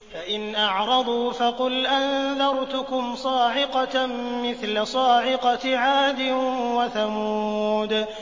فَإِنْ أَعْرَضُوا فَقُلْ أَنذَرْتُكُمْ صَاعِقَةً مِّثْلَ صَاعِقَةِ عَادٍ وَثَمُودَ